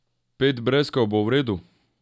Pet breskev bo v redu?